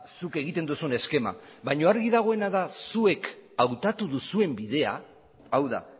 zuk egiten duzun eskema baina argi dagoena da zuek hautatu duzuen bidea hau da